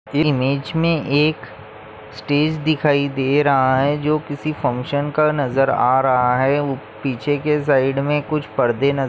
image मे एक stage दिखाई दे रहा है जो किसी फंक्शन का नजर आ रहा है पीछे के साइड में कुछ पड़दे नज़--